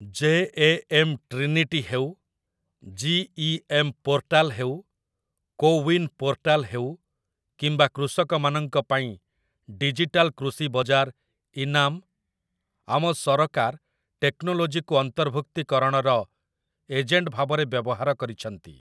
JAM. Trinity ହେଉ, GEM. Portal ହେଉ, CoWIN portal ହେଉ କିମ୍ବା କୃଷକମାନଙ୍କ ପାଇଁ ଡିଜିଟାଲ୍ କୃଷି ବଜାର 'ଇନାମ୍', ଆମ ସରକାର ଟେକ୍ନୋଲୋଜିକୁ ଅନ୍ତର୍ଭୁକ୍ତୀକରଣର ଏଜେଣ୍ଟ ଭାବରେ ବ୍ୟବହାର କରିଛନ୍ତି ।